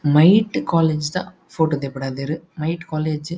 ಮೈಟ್ ಕಾಲೇಜ್ ದ ಫೋಟೊ ದೆಪ್ ಡಾದೆರ್. ಮೈಟ್ ಕಾಲೇಜ್ --